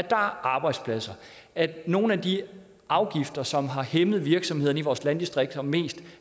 er arbejdspladser at nogle af de afgifter som har hæmmet virksomhederne i vores landdistrikter mest